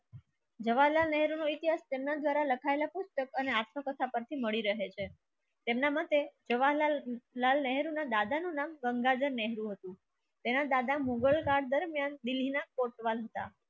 જવાહરલાલ નહેરુ ને જર્નલ દ્વારા લખાય લા પુસ્તક અને આત્મકથા પછી મળે રહે છે. એમના માટે જવાહરલાલ નહેરુ ના દાદા નું નામ ગંગાધર નહેરુ હતું તેના દાદા મુઘલ કાળ દરમ્યાન દિલ્લી ના કોટવાલ હતા.